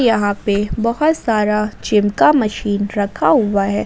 यहां पे बहुत सारा जिम का मशीन रखा हुआ है।